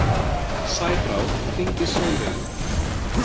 Sæbrá, hringdu í Solveigu.